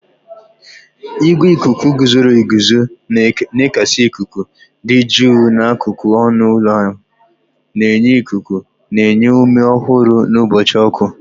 Igwe ikuku guzoro eguzo na-ekesa ikuku dị jụụ n'akụkụ ọnụ ụlọ ahụ, na-enye ikuku na-enye ume ọhụrụ n'ụbọchị ọkụ.